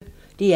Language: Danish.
DR P1